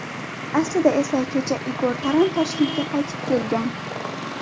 Aslida esa kecha Igor Taran Toshkentga qaytib kelgan.